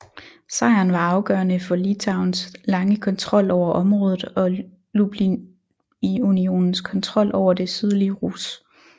Sejren var afgørende for Litauens lange kontrol over området og Lublinunionens kontrol over det sydlige Rus